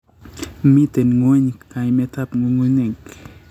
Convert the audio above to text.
miten ng'weny kaimetab ng'ung'unyek